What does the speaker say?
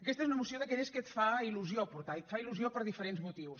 aquesta és una moció d’aquelles que et fa il·lusió portar i et fa il·lusió per diferents motius